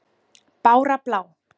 Bára blá!